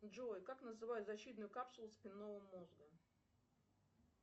джой как называют защитную капсулу спинного мозга